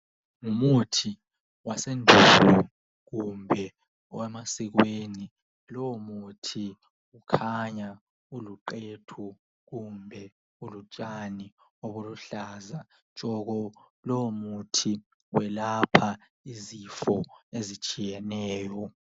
ngumuthi wasemuva kumbe owemasikweni lowo muthi ukhanya uluqhethu kumbe ulutshani olubuhlaza tshoko lowo muthi uwelapha izifo ezitshiyeneyo